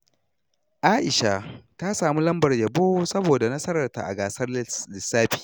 Aisha ta samu lambar yabo saboda nasararta a gasar lissafi.